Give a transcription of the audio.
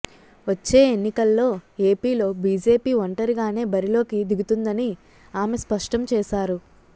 వచ్చే ఎన్నికల్లో ఏపీలో బీజేపీ ఒంటరిగానే బరిలోకి దిగుతుందని ఆమె స్పష్టం చేశారు